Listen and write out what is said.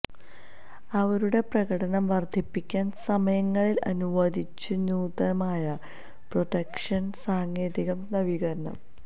അവരുടെ പ്രകടനം വർദ്ധിപ്പിക്കാൻ സമയങ്ങളിൽ അനുവദിച്ചു നൂതനമായ പ്രൊഡക്ഷൻ സാങ്കേതിക നവീകരണം